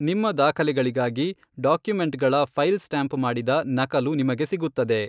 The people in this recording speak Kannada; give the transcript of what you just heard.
ನಿಮ್ಮ ದಾಖಲೆಗಳಿಗಾಗಿ ಡಾಕ್ಯುಮೆಂಟ್ಗಳ ಫೈಲ್ ಸ್ಟ್ಯಾಂಪ್ ಮಾಡಿದ ನಕಲು ನಿಮಗೆ ಸಿಗುತ್ತದೆ.